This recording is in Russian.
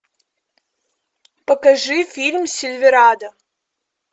покажи фильм сильверадо